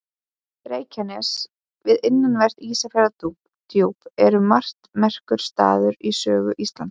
Reykjanes við innanvert Ísafjarðardjúp er um margt merkur staður í sögu Íslands.